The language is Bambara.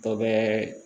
Dɔ bɛ